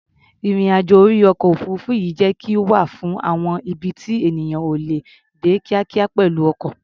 Ìrìn-àjò orí ọkọ̀-òfuurufú yẹ kí ó wà fún àwọn ibi tí ènìyàn ò lè dé kíákíá pẹ̀lú ọkọ̀.